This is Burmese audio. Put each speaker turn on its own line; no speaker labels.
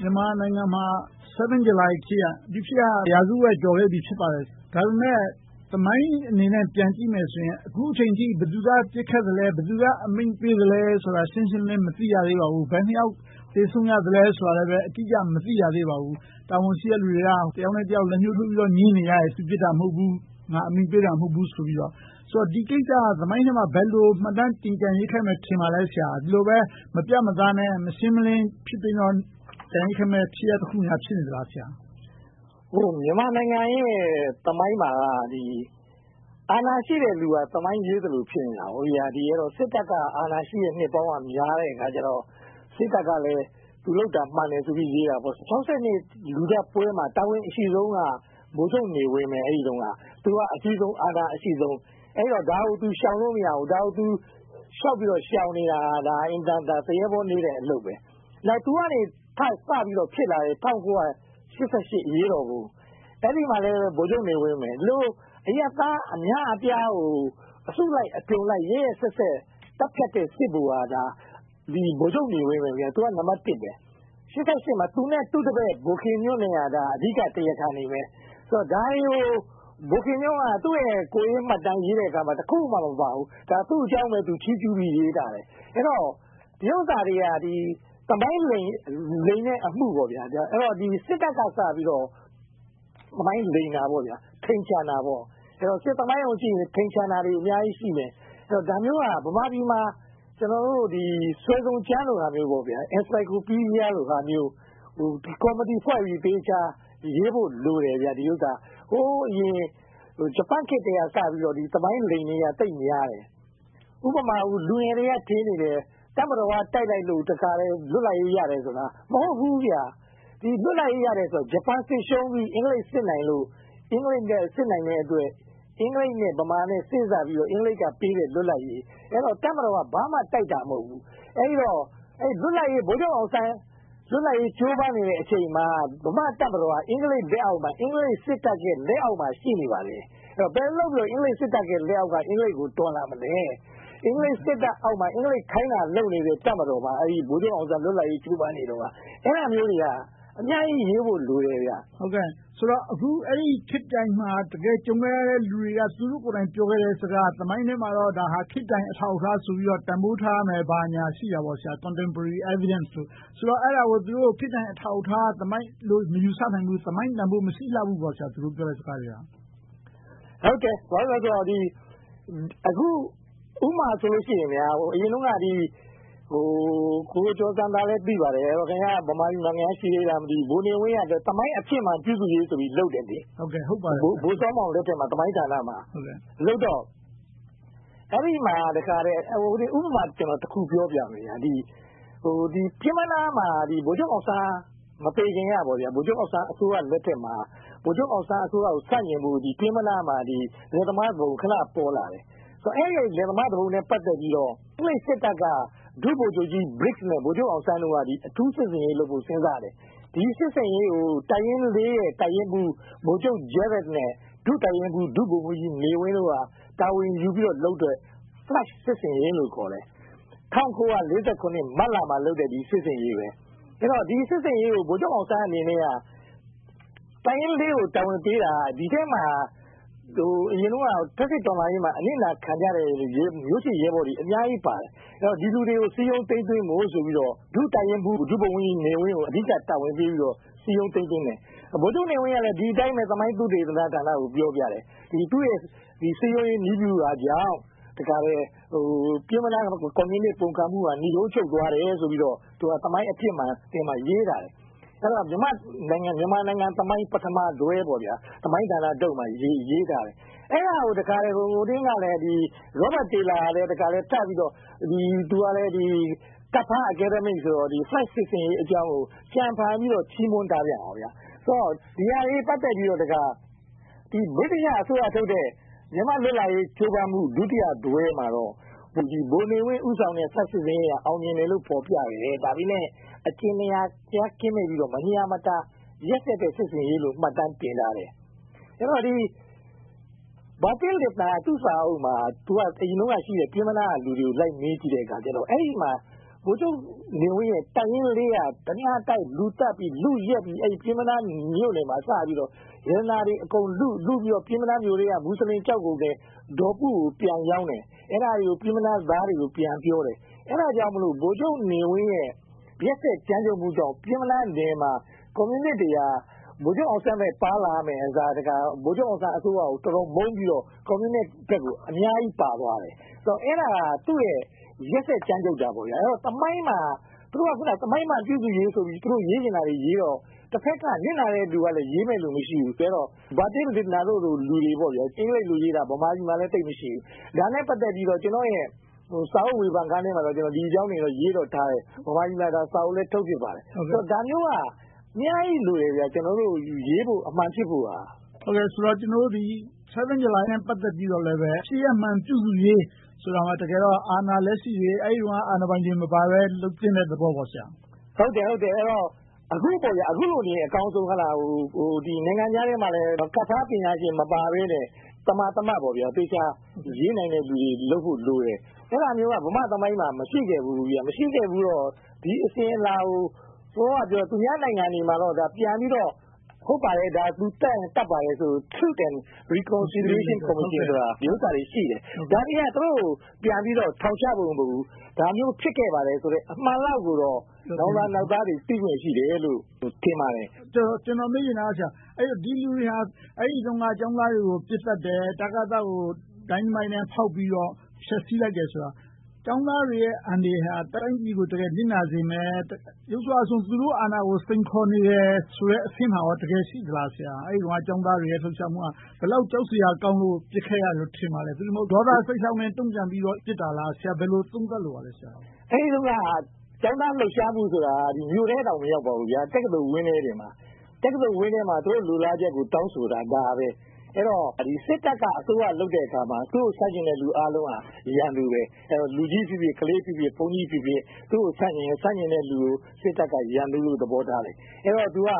မြန်မာနိုင်ငံမှာ 7th July ဖြစ်ရပ်က ရာစုဝက်ကျော်ခဲ့ပါပြီ။ ဒါပေမဲ့ သမိုင်းအနေနဲ့ ပြန်ကြည့်မယ်ဆိုရင် အခုအချိန်အထိ ဘယ်သူက ပစ်ခတ်လဲ။ ဘယ်သူက အမိန့်ပေးသလဲဆိုတာကို ရှင်းရှင်းလင်းလင်း မသိရသေးပါဘူး။ ဘယ်နှစ်ယောက် သေဆုံးသလဲဆိုလာလဲ မသိရသေးပါဘူး။ တာဝန်ရှိသူတွေက တယောက်နဲ့တယောက် လက်ညှိုးထိုးပြီး ငြင်းနေကြတယ်။ သူပစ်တာ မဟုတ်ဘူး။ ငါအမိန့်ပေးတာ မဟုတ်ဘူး။ ဒီကိစ္စက သမိုင်းထဲမှာ ဘယ်လို မှတ်တမ်းတင်ကျန်ရစ်ခဲ့မယ် ထင်ပါလဲ ဆရာ။ ဒီလိုပဲ မပြတ်မသားနဲ့ မရှင်းမလင်း ဖြစ်ပြီးတော့ ကျန်ရစ်ခဲ့မယ် ဖြစ်ရပ်တခုများ ဖြစ်နေမလား။
မြန်မာနိုင်ငံရဲ့ သမိုင်းမှာက အာဏာရှိတဲ့လူက သမိုင်းရေးနေသလို ဖြစ်နေတယ်။ စစ်တပ်က အာဏာရှိတဲ့ နှစ်ပေါင်းများတဲ့အခါကြတော့ စစ်တပ်ကလဲ သူလုပ်တာ မှန်တယ်ဆိုပြီး ရေးတာပေါ့။ ၆၂ လူသတ်ပွဲမှာ တာဝန်အရှိဆုံးက ဗိုလ်ချုပ်နေဝင်း။ အဲဒီတုန်းက သူက အကြီးဆုံး၊ အာဏာအရှိဆုံး၊ အဲဒီတော့ ဒါကို သူ ရှောင်လို့မရဘူး။ သူ လျှောက်ပြီးတော့ ရှောင်နေတာ၊ အင်မတန် သူရဲဘောနည်းတဲ့ အလုပ်။ သူကနေ စပြီးဖြစ်လာတဲ့ ၁၉၈၈ အရေးတော်ပုံ အဲဒီမှာလည်း ဗိုလ်ချုပ်နေဝင်းပဲ။ အရပ်သား အများအပြားကို အစုလိုက်အပြုံလိုက် ရက်ရက်စက်စက် သတ်ဖြတ်တဲ့ စစ်ဗိုလ်က ဗိုလ်ချုပ်နေဝင်းပဲ။ သူက နံပတ်တစ်။ အဲဒီအချိန်မှာ သူနဲ့ သူ့တပည် ဗိုလ်ခင်ညွှန့်တို့က အဓိက တရားခံတွေပဲ။ ဒါတွေကို ဗိုလ်ခင်ညွှန့်က သူ့ရဲ့ ကိုယ်ရေးမှတ်တမ်း ရေးတဲ့အခါမှာ တခုမှ မပါဘူး။ သူ့အကြောင်းပဲ သူချီးကျူးပြီး ရေးထားတယ်။ ဒီဥစ္စာတွေက သမိုင်းလိမ်တဲ့ အမှု။ အဲဒီတော့ စစ်တပ်က စပြီးတော့ သမိုင်းလိမ်တာပေါ့။ ထိမ်ချန်တာပေါ့။ စစ်သမိုင်းကိုကြည့်ရင် ထိမ်ချန်တာတွေ အများကြီးရှိမယ်။ ဒါမျိုးဟာ ဗမာပြည်မှာ စွယ်စုံကျမ်းလိုမျိုး encyclopedia ဟာမျိုး ကော်မတီဖွဲ့ပြီး သေချာရေးဖို့လိုတယ်။ ဟိုအရင် ဂျပန်ခေတ်ထဲကစပြီး သမိုင်းလိမ်တွေက သိပ်များတယ်။ ဥပမာ လူငယ်တွေက ထင်နေတယ်။ တပ်မတော်က တိုက်လိုက်လို့ လွတ်လပ်ရေး ရတယ်ဆိုတာ။ မဟုတ်ဘူးဗျ။ လွတ်လပ်ရေး ရတယ်ဆိုတာ ဂျပန်စစ်ရှုံးပြီး အင်္ဂလိပ်စစ်နိုင်လို့။ အင်္ဂလိပ် စစ်နိုင်တဲ့အတွက် အင်္ဂလိပ်နဲ့ ဗမာ စေ့စပ်ပြီးတော့ အင်္ဂလိပ်ကပေးတဲ့ လွတ်လပ်ရေး။ အဲဒီတော့ တပ်မတော်က ဘာမှ တိုက်တာမဟုတ်ဘူး။ ဗိုလ်ချုပ်အောင်ဆန်း လွတ်လပ်ရေး ကြိုးပမ်းနေတဲ့ အချိန်မှာ ဗမာတပ်မတော်က အင်္ဂလိပ် လက်အောက်မှာ၊ အင်္ဂလိပ်စစ်တပ်ရဲ့ လက်အောက်မှာ ရှိနေပါတယ်။ ဘယ်လိုလုပ်ပြီး အင်္ဂလိပ်လက်အောက်ကနေ အင်္ဂလိပ်ကို တော်လှန်မလဲ။ အင်္ဂလိပ်စစ်တပ် လက်အောက်မှာ အင်္ဂလိပ် ခိုင်းတာလုပ်နေတဲ့ တပ်မတော်ပါ။ အဲဒါမျိုးတွေက အများကြီး ရေးဖို့လိုတယ်။
ဆိုတော့ အဲဒီခေတ်ပြိုင်မှာ တကယ်ကြုံခဲ့ရတဲ့ လူတွေက သူတို့ကိုယ်တိုင် ပြောခဲ့တဲ့ စကားကတော့ သမိုင်းထဲမှာ ဒါကို ခေတ်ပြိုင်အထောက်အထားဆိုပြီးတော့ တန်းဖိုးထားရမယ်၊ ဘာညာ ရှိကြတယ်။ Comtempory evidence လို့။ အဲဒါကို ခေတ်ပြိုင်အထောက်အထား သမိုင်းလို့ မယူဆနိုင်ဘူး။ သမိုင်းတန်းဖိုး မရှိကြဘူးပေါ့။
အခု ဥပမာဆိုလို့ရှိရင် အရင်တုန်းက ကိုကျော်ဇံသာလည်း သိပါတယ်။ ဗမာပြည်မှာ ရှိသေးလား မသိဘူး - ဗိုလ်နေဝင်းက သမိုင်းအဖြစ်မှန် ပြုစုရေးဆိုပြီးလုပ်တယ်။ ဗိုလ်စောမောင် လက်ထက်မှာ သမိုင်းဌာနမှာလုပ်တော့ အဲဒီမှာ ဥပမာတခု ပြောပြမယ် -- ပျဉ်းမနားမှာ ဗိုလ်ချုပ်အောင်ဆန်း မသေခင်၊ ဗိုလ်ချုပ်အောင်ဆန်းအစိုးရမှာ ဗိုလ်ချုပ်အောင်ဆန်းအစိုးရကို ဆန့်ကျင်ဖို့ ပျဉ်မနားမှာ လယ်သမားသူပုန် ခဏပေါ်လာတယ်။ အဲဒီ လယ်သမားသူပုန်နဲ့ ပတ်သက်ပြီးတော့ အင်္ဂလိပ်စစ်တပ်က ဒုဗိုလ်ချုပ်ကြီးဗစ်နဲ့ ဗိုလ်ချုပ်အောင်ဆန်းတို့က အထူးစစ်ဆင်ရေးလုပ်ဖို့ စဉ်းစားတယ်။ ဒီစစ်ဆင်ရေးကို တပ်ရင်း ရဲ့ တပ်ရင်းမှုး ဗိုလ်ချုပ်ဂျရက်နဲ့ ဒုတပ်ရင်းမှုး ဒုဗိုလ်မှုးကြီးနေဝင်းတို့က တာဝန်ယူပြီးတော့လုပ်တဲ့ Flush စစ်ဆင်ရေးလို့ ခေါ်တယ်။ ၁၉၄၇ ခုနှစ် မတ်လမှာလုပ်တဲ့ စစ်ဆင်ရေး။ ဒီစစ်ဆင်ရေးကို ဗိုလ်ချုပ်အောင်ဆန်းအနေနဲ့က တပ်ရင်း ကို တာဝန်ပေးတာက ဒီထဲမှာ အရင်တုန်းက ဖက်စစ်တော်လှန်ရေးမှာ အနစ်နာခံကြတဲ့ မျိုးချစ်ရဲဘော်တွေ အများကြီးပါတယ်။ ဒီလူတွေကို စည်းရုံးသိမ်းသွင်းဖို့ဆိုပြီး ဒုတပ်ရင်းမှုး ဒုဗိုလ်မှုးကြီးနေဝင်းကို အဓိက တာဝန်ပေးပြီးတော့ စည်းရုံးသိမ်းသွင်းတယ်။ ဗိုလ်ချုပ်နေဝင်းကလည်း ဒီအတိုင်းပဲ သမိုင်းသုတေသနဌာနကို ပြောပြတယ်။ သူ့ရဲ့ စည်းရုံးရေးနည်းဗျူဟာကြောင့် ပျဉ်းမနားမြို့တဝိုက် ကွန်မြူနစ် ပုန်ကန်မှုက နိဂုံးချုပ်သွားတယ်လို့ သမိုင်းအဖြစ်မှန်မှာ ရေးလာတယ်။ အဲဒီတော့ မြန်မာနိုင်ငံသမိုင်း ပထမတွဲမှာ ရေးထားတယ်။ အဲဒါကို Robert Taylor ကလည်း ကပ်ဖား academic ဆိုတော့ Flush စစ်ဆင်ရေးအကြောင်းကို ကြံဖန်ပြီး ချီးမွမ်းထားပြန်တယ်။ ဒီဟာတွေနဲ့ ပတ်သက်ပြီး ဗြိတိသျှအစိုးရထုတ်တဲ့ မြန်မာလွတ်လပ်ရေး ကြိုးပမ်းမှု ဒုတိယတွဲမှာတော့ ဗိုလ်နေဝင်း ဦးစီးတဲ့ Flush စစ်ဆင်ရေးက အောင်မြင်တယ်လို့ ဖော်ပြတယ်။ ဒါပေမဲ့ အကြင်နာတရား ကင်းမဲ့ပြီးတော့၊ ရက်စက်တဲ့ စစ်ဆင်ရေးလို့ မှတ်တမ်းတင်ထားတယ်။ အဲဒီတော့ Bertil Lintner က သူ့စာအုပ်မှာ အရင်တုန်းကရှိတဲ့ ပျဉ်းမနားက လူတွေကို လိုက်မေးပြီးတော့ အဲဒီမှာ ဗိုလ်ချုပ်နေဝင်းရဲ့ တပ်ရင်း က ဓမြတိုက်၊ လူသတ်ပြီး လုယက်ပြီး အဲဒီ ပျဉ်းမနားမြို့နယ်မှာ စပြီးတော့ ရတနာတွေ အကုန်လုံးလုပြီးတော့ ပျဉ်းမနားမြို့ထဲက မူစလင်ကျောက်ကုန်သည် ဒေါ်ပုကို ပြန်ရောင်းတယ်။ အဲဒါတွေကို ပျဉ်းမနားသားတွေကို ပြန်ပြောတယ်။ အဲဒါကြောင့်မို့ ဗိုလ်ချုပ်နေဝင်းရဲ့ ရက်စက်ကြမ်းကြုတ်မှုကြောင့် ပျဉ်းမနားနယ်မှာ ကွန်မြူနစ်တွေက ဗိုလ်ချုပ်အောင်ဆန်းဘက် ပါလာမယ့်အစား ဗိုလ်ချုပ်အောင်ဆန်းအစိုးရကို အတော်မုန်းပြီးတော့ ကွန်မြူနစ်ဘက်ကို အများကြီးပါသွားတယ်။ အဲဒါက သူ့ရဲ့ ရက်စက်ကြမ်းကြုတ်တာပေါ့။ သူတို့က သမိုင်းမှန်ပြုစုရေးဆိုပြီး သူတို့ ရေးချင်တာတွေရေးတော့ တဘက်က နစ်နာတဲ့လူကလဲ ရေးမယ်လူ မရှိဘူး။ Bertil Lintner တို့လို အင်္ဂလိပ်လိုရေးတာ ဗမာပြည်မှာလဲ သိပ်မရှိဘူး။ ဒါနဲ့ ပတ်သက်ပြီးတော့ ကျနော့်ရဲ့ စာအုပ်ဝေဖန်ခန်းထဲမှာတော့ ဒီအကြောင်းတွေတော့ ရေးလို့ထားတယ်။ ဗမာပြည်မှာ စာအုပ်လည်း ထုတ်ဖြစ်ပါတယ်။ ဒါမျိုးက အများကြီးလိုတယ်။ ရေးဖို့ အမှန်ဖြစ်ဖို့။
ကျနော်တို့ 7th July နဲ့ ပတ်သက်ပြီးတော့လည်း ဖြစ်ရပ်မှန် ပြုစုရေးဆိုတာက တကယ်တော့ အာဏာလက်ရှိတွေ၊ အဲဒီတုန်းက အာဏာပိုင်တွေ မပါဘဲ လုပ်သင့်တဲ့သဘောပေါ့။
ဟုတ်တယ်။ အခုလိုက အကောင်းဆုံး။ နိုင်ငံခြားသားထဲမှာလည်း ကပ်ဖားပညာရှင် မပါဘဲနဲ့ သမာသမတ် သေချာရေးနိုင်တဲ့လူတွေ လုပ်ဖို့လိုတယ်။ အဲဒါမျိုးက ဗမာသမိုင်းမှာ မရှိခဲ့ဖူးဘူး။ မရှိခဲ့ဘူးတော့ ဒီအစဉ်အလာကို သူများနိုင်ငံတွေမှာတော့ ပြန်ပြီးတော့ သူသတ်ရင် သတ်ပါတယ်လို့ Truth and Reconciliation တွေ ရှိတယ်။ ဒါတွေက သူတို့ကို ပြန်ပြီးတော့ ထောင်ချဖို့ မဟုတ်ဘူး။ ဒါမျိုးဖြစ်ခဲ့ပါတယ်ဆိုတဲ့ အမှန်တရားကိုတော့ နောင်လာနောင်သားတွေ သိခွင့်ရှိတယ်လို့ ထင်ပါတယ်။
ကျနော် မေးချင်တာက ဒီလူတွေဟာ အဲဒီတုန်းက ကျောင်းသားတွေကို ပစ်သတ်တယ်။ တကသကို ဒိုင်နမိုက်နဲ့ ဖောက်ခွဲဖျက်ဆီးလိုက်တယ်ဆိုတာ ကျောင်းသားတွေရဲ့ အန္တရာယ်ဟာ တိုင်းပြည်ကို တကယ်နစ်နာစေမယ်။ ယုတ်စွအဆုံး သူတို့အာဏာကို စိန်ခေါ်နေတယ်ဆိုတဲ့ အဆင့်မှာ တကယ်ရှိလား။ အဲဒီတုန်းက ကျောင်းသားတွေရဲ့ လှုပ်ရှားမှုက ဘယ်လောက် ကြောက်စရာကောင်းလို့ ပစ်ခဲ့ရတယ်လို့ ထင်ပါလဲ။ သို့တည်မဟုတ် ဒေါသစိတ်ကြောင့် ပစ်တာလား။ ဆရာ ဘယ်လို သုံးသပ်လိုပါလဲ။
အဲဒီတုန်းက ကျောင်းသားလှုပ်ရှားမှုဆိုတာ မြို့ထဲတောင် မရောက်ပါဘူး။ တက္ကသိုလ်ဝန်းထဲမှာပါ။ တက္ကသိုလ်ဝန်းထဲမှာ သူတို့ လိုလားချက်ကို တောင်းဆိုတာ။ အဲဒီတော့ စစ်တပ်က အစိုးရလုပ်တဲ့အခါမှာ သူ့ဆန့်ကျင်တဲ့ လူအားလုံးဟာ ရန်သူပဲ။ လူကြီးဖြစ်ဖြစ်၊ ခလေးဖြစ်ဖြစ်၊ ဘုန်းကြီးဖြစ်ဖြစ် သူကို ဆန့်ကျင်ရင် ဆန့်ကျင်တဲ့လူကို စစ်တပ်က ရန်သူလို့ သဘောထားတယ်။ အဲဒီတော့ သူက